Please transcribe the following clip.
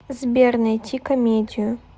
сбер найти комедию